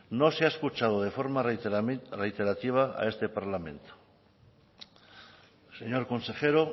no se ha escuchado de forma reiterativa a este parlamento señor consejero